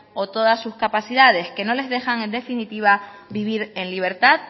o todas sus capacidades que no les dejan en definitiva vivir en libertad